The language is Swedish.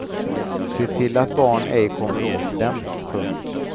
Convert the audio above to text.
Se till att barn ej kommer åt dem. punkt